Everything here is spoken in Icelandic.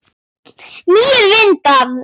Nýir vindar?